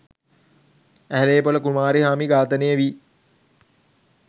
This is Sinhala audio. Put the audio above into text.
ඇහැලේපොළ කුමාරිහාමි ඝාතනය වී